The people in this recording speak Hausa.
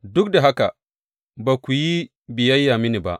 Duk da haka ba ku yi biyayya mini ba.